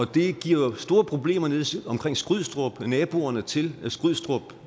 det giver store problemer nede omkring skrydstrup naboerne til skrydstrup